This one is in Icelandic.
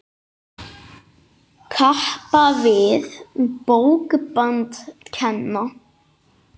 Kappa við bókband kenna.